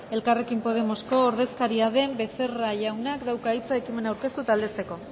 elkarrekin podemosko ordezkariaren becerra jaunak dauka hitza ekimena aurkeztu aldezteko